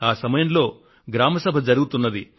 ఈ సమయంలో గ్రామ సభ జరుగుతున్నది